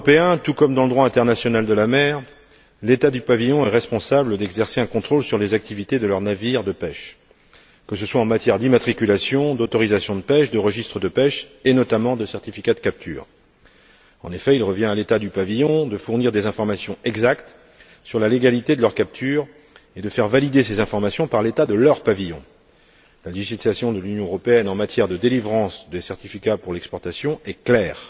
le droit européen tout comme dans le droit international de la mer, l'État du pavillon est responsable d'exercer un contrôle sur les activités de ses navires de pêche, que ce soit en matière d'immatriculation, d'autorisation de pêche, de registre de pêche et, notamment, de certificat de captures. En effet, il revient à l'État du pavillon de fournir des informations exactes sur la légalité de leurs captures et de faire valider ces informations par l'État de leur pavillon. La législation de l'Union européenne en matière de délivrance des certificats d'exportation est claire.